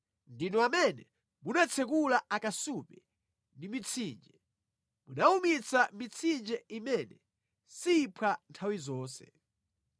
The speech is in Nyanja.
Ndinu amene munatsekula akasupe ndi mitsinje, munawumitsa mitsinje imene siphwa nthawi zonse.